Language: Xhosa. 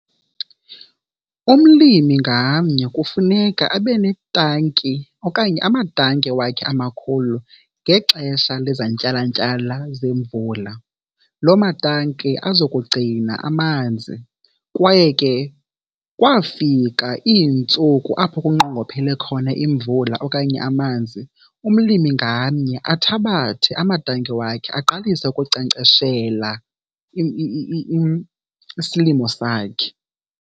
Umlimi ngamnye kufuneka abe netanki okanye amatanki wakhe amakhulu ngexesha lezantyalantyala zemvula, loo matanki aza kugcina amanzi. Kwaye ke kwafika iintsuku apho kunqongophele khona imvula okanye amanzi, umlimi ngamnye athabathe amatanki wakhe aqalise ukunkcenkceshela isilimo sakhe.